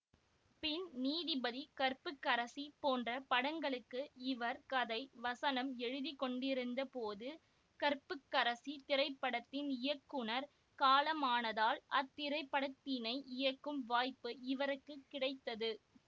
பின் நீதிபதி கற்புக்கரசி போன்ற படங்களுக்கு இவர் கதை வசனம் எழுதிக்கொண்டிருந்தபோது கற்புக்கரசி திரைப்படத்தின் இயக்குநர் காலமானதால் அத்திரைப்படத்தினை இயக்கும் வாய்ப்பு இவருக்கு கிடைத்தது